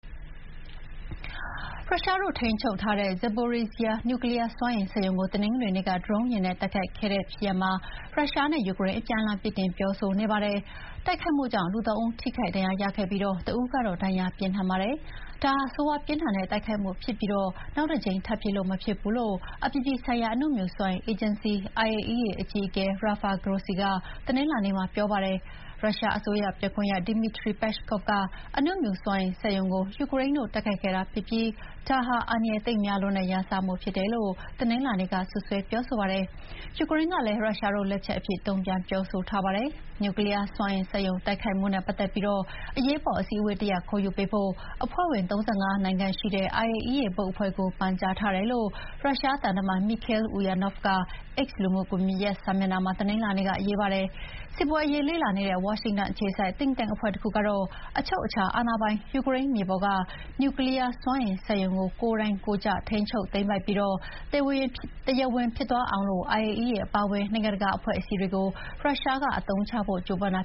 ရုရှားတို့ထိန်းချုပ်ထားတဲ့ Zaporizhzhia အနူမြူစွမ်းအင်စက်ရုံကို တနင်္ဂနွေနေ့ ဒရုန်းယာဥ်နဲ့ တိုက်ခိုက်ခံခဲ့ရတဲ့ဖြစ်ရပ်မှာ ရုရှားနဲ့ ယူကရိန်း အပြန်အလှန်ပြစ်တင်ပြောဆိုနေကြပါတယ်။ တိုက်ခိုက်မှုကြောင့် လူ၃ ဦး ထိခိုက်ဒဏ်ရာရခဲ့ပြီး တဦးကတော့ ဒဏ်ရာပြင်းထန်ပါတယ်။ ဒါဟာ ဆိုးရွားပြင်းထန်တဲ့တိုက်ခိုက်မှုဖြစ်ပြီး နောက်တကြိမ်ထပ်ဖြစ်လို့ မရဘူးလို့ အပြည်ပြည်ဆိုင်ရာ အနုမြူစွမ်းအင်အေဂျင်စီ IAEA အကြီးအကဲ Rafael Grossi ကတနင်္လာနေ့မှာ ပြောပါတယ်။ ရုရှားအစိုးရပြောခွင့်ရသူ Dmitry Peskov က အနုမြူစွမ်းအင်စက်ရုံကို ယူကရိန်းတို့ တိုက်ခိုက်ခဲ့တာဖြစ်ပြီး ဒါဟာ အန္တရာယ်သိပ်များတဲ့ ရန်စမှုဖြစ်တယ်လို့ တနင်္လာနေ့က စွပ်စွဲပြောဆိုပါတယ်။ ယူကရိန်းကလည်း ရုရှားတို့လက်ချက်အဖြစ် တုန့်ပြန်ပြောဆိုပါတယ်။ နျူကလီးယားစွမ်းအင်စက်ရုံတိုက်ခိုက်မှုနဲ့ပတ်သက်ပြီး အရေးပေါ်အစည်းအဝေးတရပ်ခေါ်ယူပေးဖို့ အဖွဲ့ဝင် ၃၅ နိုင်ငံရှိတဲ့ IAEA ဘုတ်အဖွဲ့ကို ပန်ကြားထားတယ်လို့ ရုရှားသံတမန် မီခေးလ် အူယာနော့ဗ်က X လူမှုစာမျက်နှာမှာ တနင်္လာနေ့က ရေးပါတယ်။ စစ်ပွဲအရေးလေ့လာနေတဲ့ ဝါရှင်တန်အခြေစိုက် Think Tank အဖွဲ့တခုကတော့ အချုပ်အခြာအာဏာပိုင် ယူကရိန်းမြေပေါ်က နျူကလီးယားစက်ရုံကို ကိုယ်တိုက်ကိုယ်ကျ ထိန်းချုပ်သိမ်းပိုက်ပြီး၊ တရားဝင်ဖြစ်သွားအောင် IAEA အပါအဝင် နိုင်ငံတကာအဖွဲ့အစည်းတွေကို ရုရှားက အသုံးချဖို့ကြိုးပမ်းတာ